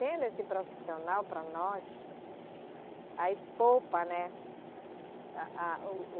Tendo esse profissional para nós, aí poupa, né? A a o